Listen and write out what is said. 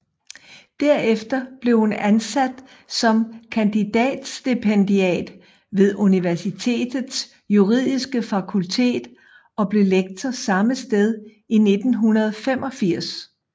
Derefter blev hun ansat som kandidatstipendiat ved universitetets juridiske fakultet og blev lektor samme sted i 1985